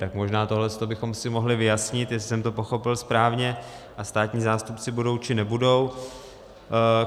Tak možná tohle bychom si mohli vyjasnit, jestli jsem to pochopil správně a státní zástupci budou, či nebudou.